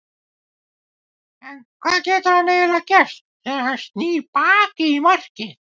Hvað getur hann eiginlega gert þegar að hann snýr baki í markið?